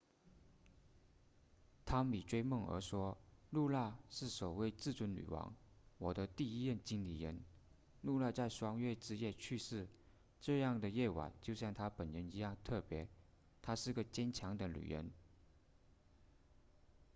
汤米追梦儿说露娜是首位至尊女王我的第一任经理人露娜在双月之夜去世这样的夜晚就像她本人一样特别她是个坚强的女人